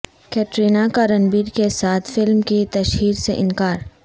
کترینہ کا رنبیر کے ساتھ فلم کی تشہیر سے ا نکار